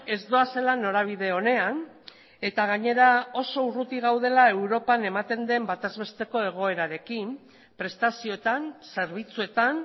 ez doazela norabide onean eta gainera oso urruti gaudela europan ematen den bataz besteko egoerarekin prestazioetan zerbitzuetan